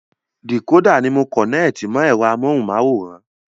Dìkódà ni a kọ̀nẹ́ẹ̀tì mọ ẹ̀rọ amóhunmáwòrán